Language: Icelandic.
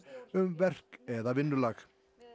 um verk eða vinnulag